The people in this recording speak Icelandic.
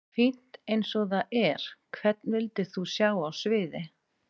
Fínt eins og það er Hvern vildir þú sjá á sviði?